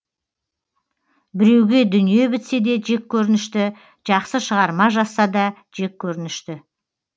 біреуге дүние бітсе де жеккөрінінішті жақсы шығарма жазса да жеккөрінішті